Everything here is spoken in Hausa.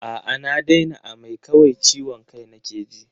A'a na daina amai, kawai ciwon kai nake ji.